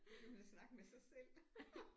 Så kan man da snakke med sig selv